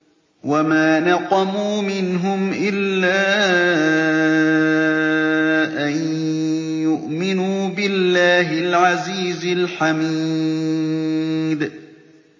وَمَا نَقَمُوا مِنْهُمْ إِلَّا أَن يُؤْمِنُوا بِاللَّهِ الْعَزِيزِ الْحَمِيدِ